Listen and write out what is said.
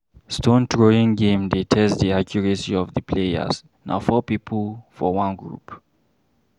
Stone throwing game dey test di accuracy of di players, na four pipo for one group.